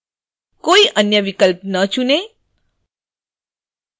कोई अन्य विकल्प न चुनें